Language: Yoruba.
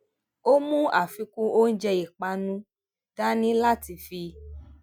ó mú afikun oúnjẹ ìpánu dání láti fi